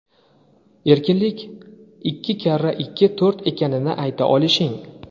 Erkinlik ikki karra ikki to‘rt ekanini ayta olishing.